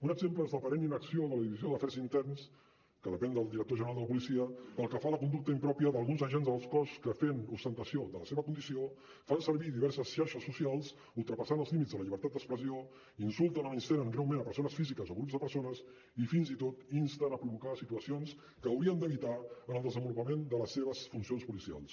un exemple és l’aparent inacció de la divisió d’afers interns que depèn del director general de la policia pel que fa a la conducta impròpia d’alguns agents del cos que fent ostentació de la seva condició fan servir diverses xarxes socials ultrapassant els límits de la llibertat d’expressió insulten o menystenen greument persones físiques o grups de persones i fins i tot insten a provocar situacions que haurien d’evitar en el desenvolupament de les seves funcions policials